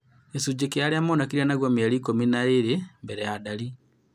gĩcunjĩ kĩa arĩa monekire naguo mĩeri ikũmi na ĩĩrĩ mbele ya ndari